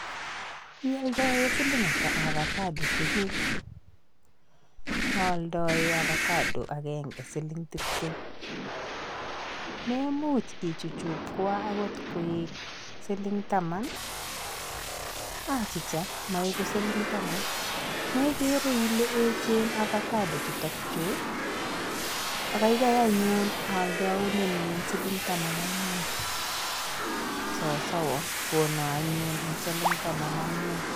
Ialdoen siling ata avacodo chuguk? Aaldoen avacado agenge siling tiptem. Memuch ichuchukwan agot koek siling taman? Achicha maegu siling taman, megere ile echen avacado chutok chu? Kagaigai anyun aldaun siling taman ak mut. Sasowa, kona anyun eng siling taman ak mut.